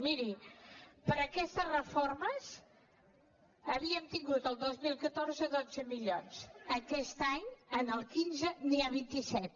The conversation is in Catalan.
miri per a aquestes reformes havíem tingut el dos mil catorze dotze milions aquest any el quinze n’hi ha vint set